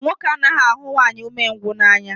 Nwoke anaghị ahụ nwanyị umengwụ n'anya